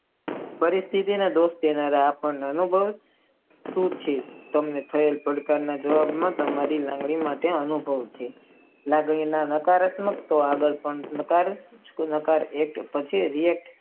પરિસ્થી માં આપણે ભોગ દેનારા અનુભવો આપણે ખુબ છે તેમને કેટલા પ્રકારના નાકારમતક છે.